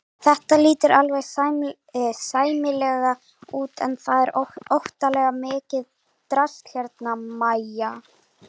Þetta lítur alveg sæmilega út en það er óttalega mikið drasl hérna MÆJA!